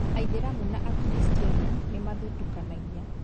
Aithĩramu na akiristiano nimathutũkanagia